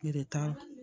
Gɛrɛ t'a la